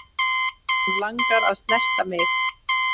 Hann langar að snerta mig.